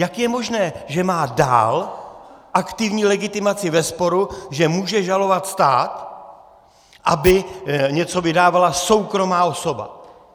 Jak je možné, že má dál aktivní legitimaci ve sporu, že může žalovat stát, aby něco vydávala soukromá osoba?